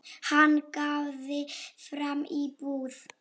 Hann gáði fram í búð.